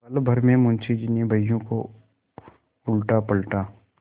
पलभर में मुंशी जी ने बहियों को उलटापलटा